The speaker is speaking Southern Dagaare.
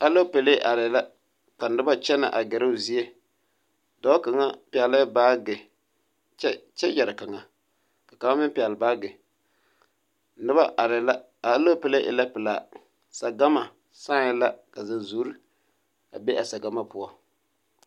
Aloopelee arɛɛ la ka noba kyɛnɛ a ɡɛrɛ o zie dɔɔ kaŋa pɛɡelɛɛ baaɡe kyɛ yɛre kaŋa ka kaŋa meŋ pɛɡele baaɡe noba arɛɛ la a aloopelee e la pelaa saɡama sãɛ la ka zunzuuri a be a saɡama poɔ.